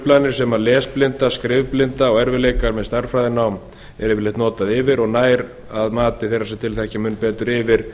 þær skyntruflanir sem lesblinda skrifblindu og erfiðleikar með stærðfræðinám er yfirleitt notað yfir og nær að mati þeirra sem til þekkja mun betur yfir